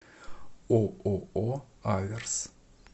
ооо аверс